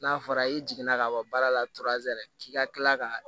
N'a fɔra i jiginna ka ban baara la k'i ka kila ka